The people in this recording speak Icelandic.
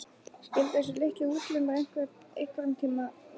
Skyldu þessir litlu útlimir einhverntíma virka?